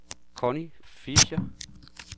Connie Fischer